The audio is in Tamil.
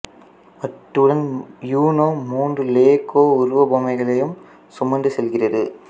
அத்துடன் யூனோ மூன்று லெகோ உருவ பொம்மைகளையும் சுமந்து செல்கிறது